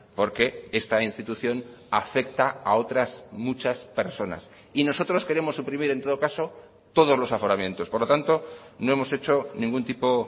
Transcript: porque esta institución afecta a otras muchas personas y nosotros queremos suprimir en todo caso todos los aforamientos por lo tanto no hemos hecho ningún tipo